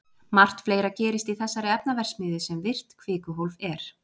Margt fleira gerist í þessari efnaverksmiðju sem virkt kvikuhólf er.